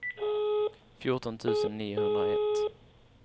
fjorton tusen niohundraett